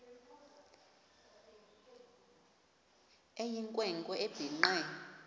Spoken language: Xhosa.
eyinkwe nkwe ebhinqe